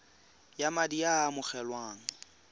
ya madi a a amogelwang